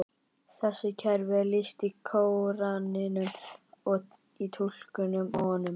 Þessu kerfi er lýst í Kóraninum og í túlkunum á honum.